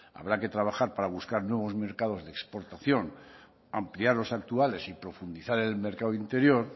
habrá que trabajar para buscar nuevos mercados de exportación ampliar los actuales y profundizar en el mercado interior